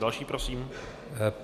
Další prosím.